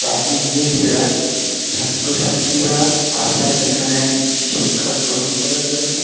প্রাচীর দিয়ে ঘেরা ছাত্রছাত্রীরা আসেন এখানে শিক্ষা গ্রহণ করার জন্য।